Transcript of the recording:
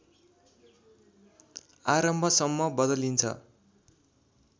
आरम्भसम्म बदलिन्छ